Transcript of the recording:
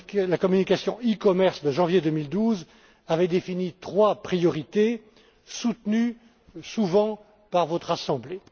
La communication e commerce de janvier 2012 avait défini trois priorités soutenues souvent par votre assemblée.